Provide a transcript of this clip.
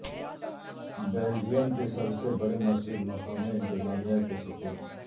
Belgium کی سب سے بڑی مسجد مقامی انتظامیہ کے سپرد